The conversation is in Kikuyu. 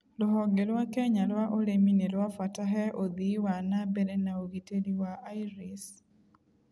Rũhonge rwa Kenya rwa ũrĩmi nĩrwabata he ũthii wa nambere na ũgiteri wa iris